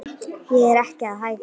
Ég er ekki að hæðast.